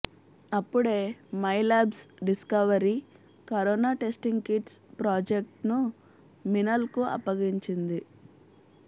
అప్పుడే Mylabs discovery corona testing kits ప్రాజెక్ట్ను మినల్కు అప్పగించింది